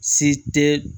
Si tɛ